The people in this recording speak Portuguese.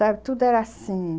Sabe, tudo era assim.